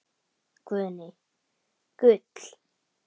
Guðný: Gull?